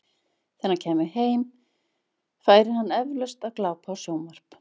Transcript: Þegar hann kæmi heim, færi hann eflaust að glápa á sjónvarp.